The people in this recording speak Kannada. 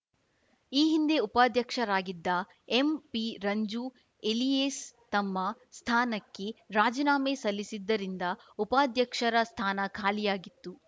ಈ ಹಿಂದೆ ಉಪಾಧ್ಯಕ್ಷರಾಗಿದ್ದ ಎಂಪಿ ರಂಜು ಎಲಿಯೇಸ್‌ ತಮ್ಮ ಸ್ಥಾನಕ್ಕೆ ರಾಜಿನಾಮೆ ಸಲ್ಲಿಸಿದ್ದರಿಂದ ಉಪಾಧ್ಯಕ್ಷರ ಸ್ಥಾನ ಖಾಲಿಯಾಗಿತ್ತು